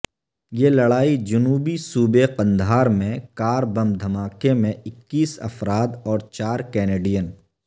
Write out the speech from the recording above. یہ لڑائی جنوبی صوبے قندھار میں کار بم دھماکے میں اکیس افراد اور چار کینیڈین